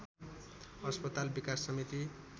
अस्पताल विकास समिति